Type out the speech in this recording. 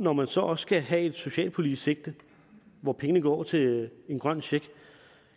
når man så også skal have et socialpolitisk sigte hvor pengene går til den grønne check